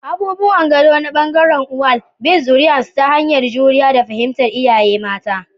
Abubuwan gado na bangarin uwal: bin zuriyarsu ta hanyar juriya da fahimtar iyaye mata.